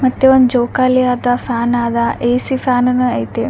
ಮತ್ತೆ ಒಂದ್ ಜೋಕಾಲಿ ಅದ ಫ್ಯಾನ್ ಅದ ಎ.ಸಿ ಫ್ಯಾನ್ನು ಐತಿ .